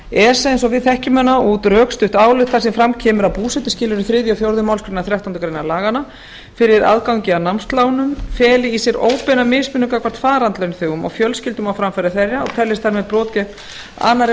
esa eins og við þekkjum hana út rökstutt álit þar sem fram kemur að búsetuskilyrði þriðja og fjórðu málsgreinar þrettándu greinar laganna fyrir aðgangi að námslánum feli í sér óbeina mismunun gagnvart farandlaunþegum og fjölskyldum á framfæri þeirra og teljist þar með brot gegn annarri